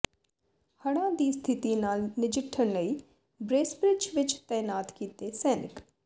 ਹੜ੍ਹਾਂ ਦੀ ਸਥਿਤੀ ਨਾਲ ਨਜਿੱਠਣ ਲਈ ਬ੍ਰੇਸਬ੍ਰਿੱਜ ਵਿੱਚ ਤਾਇਨਾਤ ਕੀਤੇ ਸੈਨਿਕ